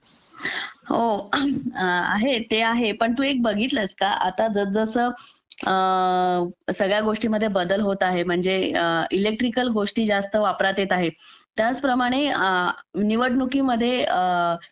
हो आहेत ते आहे पण तू एक बघितलास का आता जसजसं सगळ्या गोष्टींमध्ये बदल होत आहेत म्हणजे इलेक्ट्रिकल गोष्टी जास्त वापरात येत आहेत त्याचप्रमणे निवडणुकी मधे